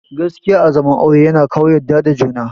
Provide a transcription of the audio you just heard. Gaskiya a zaman aure yana kawo yadda da juna